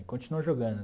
E continuou jogando.